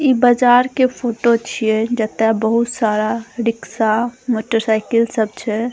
इ बाजार के फोटो छै जे ता बहुत सारा रिक्शा मोटर साइकिल सब छै।